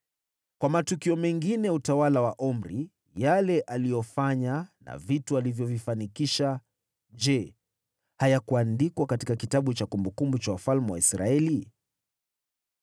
Kwa matukio mengine ya utawala wa Omri, yale aliyofanya na vitu alivyovifanikisha, je, hayakuandikwa katika kitabu cha kumbukumbu za wafalme wa Israeli?